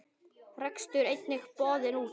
Rekstur einnig boðinn út.